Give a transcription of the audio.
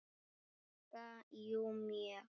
Sigga: Jú, mjög.